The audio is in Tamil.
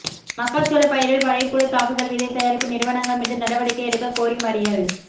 மக்காச்சோள பயிரில் படைப்புழு தாக்குதல் விதை தயாரிப்பு நிறுவனங்கள் மீது நடவடிக்கை எடுக்க கோரி மறியல்